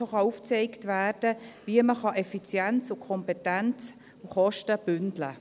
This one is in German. So kann aufgezeigt werden, wie man Effizienz- und Kompetenzkosten bündeln kann.